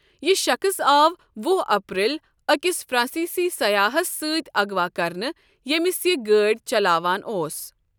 یہِ شخٕص آو وُہ اپریل أکِس فرانسیسی سیاحَس سۭتۍ اغوا کرنہٕ ییٚمِس یہِ گٲڈۍ چلاوان اوس ۔